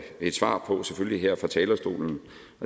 svar på selvfølgelig her fra talerstolen